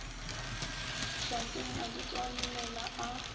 šakeng a di tswalelela a